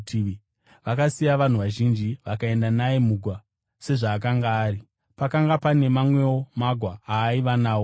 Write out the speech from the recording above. Vakasiya vanhu vazhinji, vakaenda naye mugwa, sezvaakanga ari. Pakanga pane mamwewo magwa aaiva nawo.